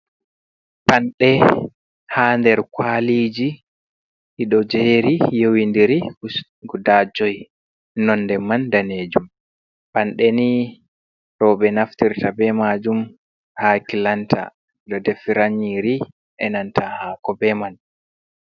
Panɗe ha nder kwaliji ɗiɗo jeri yowindiri guda joi nonɗe man danejum panɗe ni roɓe naftirta be majum ha kilanta do defira nyiri be nanta hako be man.